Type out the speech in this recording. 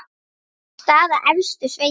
Staða efstu sveita.